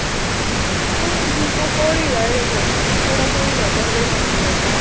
ਉਹ ਕੋੜ੍ਹੀ ਆ ਉਏ ਉਹੋ, ਬੜਾ ਕੋਹੜੀ ਕਰਦਾ ਹਰੇਕ ਕੰਮ ਨੂੰ ਲੈ ਕੇ।